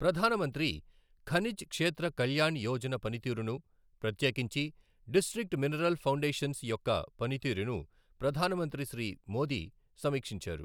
ప్రధాన మంత్రి ఖనిజ్ క్షేత్ర కళ్యాణ్ యోజన పనితీరును, ప్రత్యేకించి డిస్ట్రిక్ట్ మినరల్ ఫౌండషన్స్ యొక్క పనితీరును ప్రధాన మంత్రి శ్రీ మోదీ సమీక్షించారు.